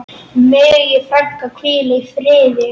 Megi frænka hvíla í friði.